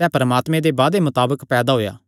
सैह़ परमात्मे दे वादे मताबक पैदा होएया